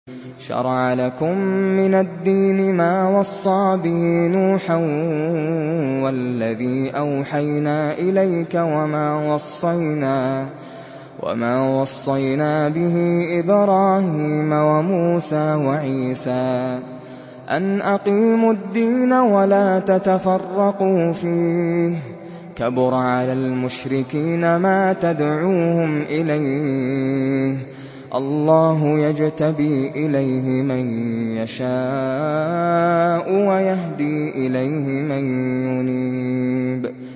۞ شَرَعَ لَكُم مِّنَ الدِّينِ مَا وَصَّىٰ بِهِ نُوحًا وَالَّذِي أَوْحَيْنَا إِلَيْكَ وَمَا وَصَّيْنَا بِهِ إِبْرَاهِيمَ وَمُوسَىٰ وَعِيسَىٰ ۖ أَنْ أَقِيمُوا الدِّينَ وَلَا تَتَفَرَّقُوا فِيهِ ۚ كَبُرَ عَلَى الْمُشْرِكِينَ مَا تَدْعُوهُمْ إِلَيْهِ ۚ اللَّهُ يَجْتَبِي إِلَيْهِ مَن يَشَاءُ وَيَهْدِي إِلَيْهِ مَن يُنِيبُ